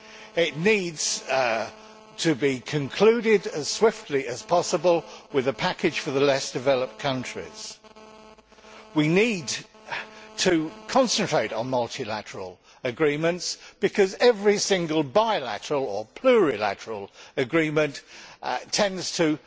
It needs to be concluded as swiftly as possible with a package for the less developed countries. We need to concentrate on multilateral agreements because every single bilateral or plurilateral agreement tends to